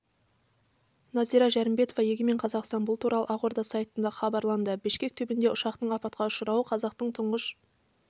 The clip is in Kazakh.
нәзира жәрімбетова егемен қазақстан бұл туралы ақорда сайтында хабарланды бішкек түбінде ұшақтың апатқа ұшырауы қазақтың тұңғыш